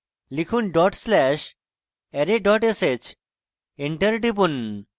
লিখুন dot slash array dot sh enter টিপুন